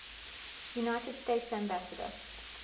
united states ambassador